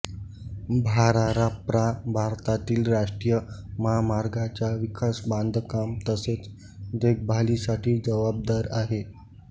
भाराराप्रा भारतातील राष्ट्रीय महामार्गांच्या विकास बांधकाम तसेच देखभालीसाठी जबाबदार आहे